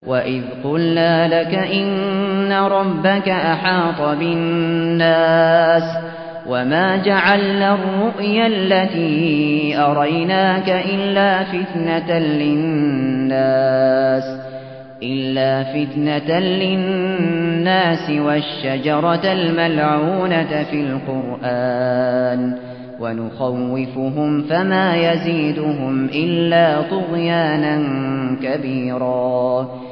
وَإِذْ قُلْنَا لَكَ إِنَّ رَبَّكَ أَحَاطَ بِالنَّاسِ ۚ وَمَا جَعَلْنَا الرُّؤْيَا الَّتِي أَرَيْنَاكَ إِلَّا فِتْنَةً لِّلنَّاسِ وَالشَّجَرَةَ الْمَلْعُونَةَ فِي الْقُرْآنِ ۚ وَنُخَوِّفُهُمْ فَمَا يَزِيدُهُمْ إِلَّا طُغْيَانًا كَبِيرًا